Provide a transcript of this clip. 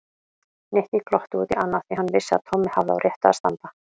Nikki glotti út í annað því hann vissi að Tommi hafði á réttu að standa.